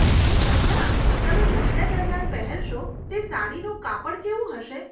હે કંગકણા, તમે લગ્ન દરમ્યાન પહેરશો તે સાડીનું કાપડ કેવું હશે?